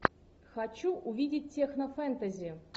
хочу увидеть технофэнтези